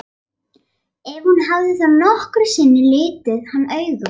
Ef hún hafði þá nokkru sinni litið hann augum.